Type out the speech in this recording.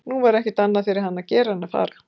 Nú var ekkert annað fyrir hann að gera en að fara.